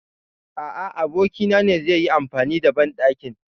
A a, abokin na ne zai yi amfani da banɗakin.